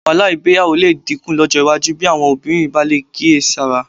Wàhálà ìgbéyàwó lè dínkù lọ́jọ́ iwájú bí àwọn obìnrin bá lè kíyèsára